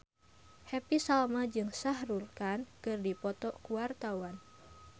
Happy Salma jeung Shah Rukh Khan keur dipoto ku wartawan